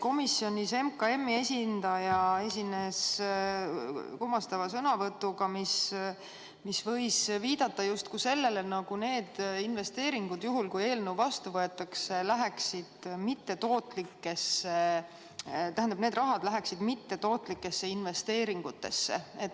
Komisjonis Majandus- ja Kommunikatsiooniministeeriumi esindaja esines kummastava sõnavõtuga, mis võis viidata justkui sellele, nagu see raha – juhul kui eelnõu vastu võetakse – läheks mittetootlikesse investeeringutesse.